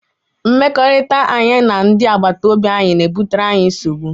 Mmekọrịta anyị na ndị agbataobi anyị na-ebutere anyị nsogbu.